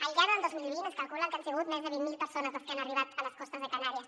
al llarg del dos mil vint es calcula que han sigut més de vint mil persones les que han arribat a les costes de canàries